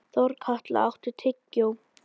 Þorkatla, áttu tyggjó?